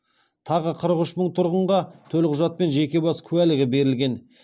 тағы қырық үш мың тұрғынға төлқұжат пен жеке бас куәлігі берілген